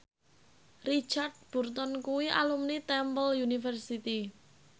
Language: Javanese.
Richard Burton kuwi alumni Temple University